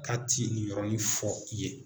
K'a ti nin yɔrɔnin fɔ i ye.